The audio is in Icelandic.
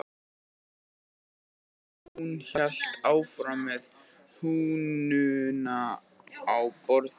Enginn svaraði og hún hélt áfram með hnúana á borðinu